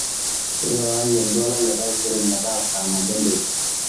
tipikaaki oltwala le taisere metaa saa nabo enteipa